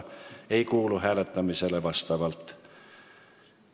Ka see ettepanek hääletamisele ei kuulu.